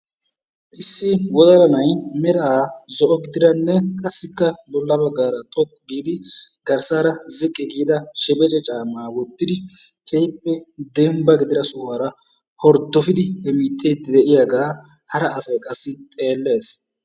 Issi wodalla na'ay meraa zo"o gidaranne qassika bolla baggaara xooqqu giidi garssaara ziiqqi giida sheebece caammaa woottidi keehippe dembba giidida sohuwaara horddopidi hemettiidi de'iyaagaa hara asay qassi xeellees.